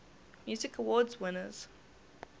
music awards winners